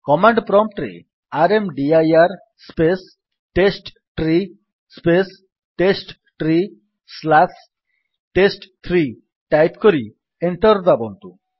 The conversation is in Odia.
କମାଣ୍ଡ୍ ପ୍ରମ୍ପ୍ଟ୍ ରେ ର୍ମଦିର space test tree space test tree slash ଟେଷ୍ଟ3 ଟାଇପ୍ କରି ଏଣ୍ଟର୍ ଦାବନ୍ତୁ